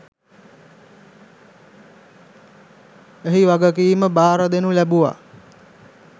එහි වගකීම බාරදෙනු ලැබුව